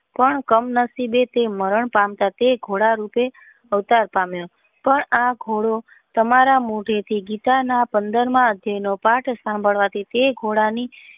પણ કામ નસીબે તે મારાં પામી તે ઘોડા રૂપે અવતાર પામ્યો પણ આ ઘોડો તમારા મુખે થી પંદર માં અધ્યાય નો પાથ સાંભળતા ઘોડા ની.